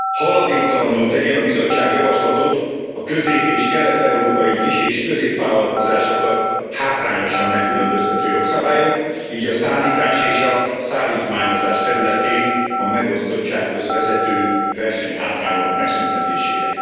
Haladéktalanul tegyen a Bizottság javaslatot a közép és kelet európai kis és középvállalkozásokat hátrányosan megkülönböztető jogszabályok, így a szállítás és a szállítmányozás területén, a megosztottsághoz vezető versenyhátrányok megszüntetésére.